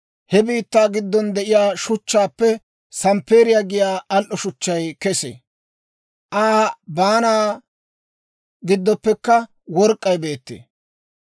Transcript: He biittaa giddon de'iyaa shuchchaappe samppeeriyaa giyaa al"o shuchchay kesee; Aa baanaa giddoppekka work'k'ay beettee.